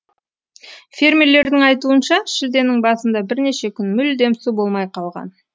фермерлердің айтуынша шілденің басында бірнеше күн мүлдем су болмай қалған